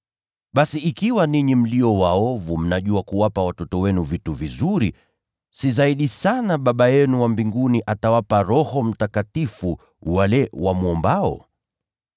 Basi ikiwa ninyi mlio waovu, mnajua kuwapa watoto wenu vitu vizuri, si zaidi sana Baba yenu aliye mbinguni atawapa Roho Mtakatifu wale wamwombao!”